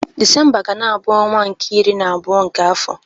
Disemba ga-na abụ ọnwa nke iri na abụọ nke afọ.